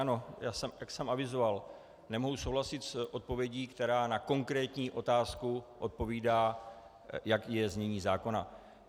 Ano, jak jsem avizoval, nemohu souhlasit s odpovědí, která na konkrétní otázku odpovídá, jaké je znění zákona.